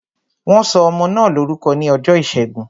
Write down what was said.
Wọn sọ ọmọ náà lórúkọ ní ọjọ́ ìṣẹ́gun